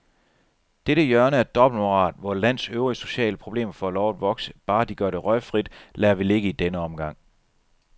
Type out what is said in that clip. Dette hjørne af dobbeltmoral, hvor et lands øvrige sociale problemer får lov at vokse, bare de gør det røgfrit, lader vi ligge i denne omgang.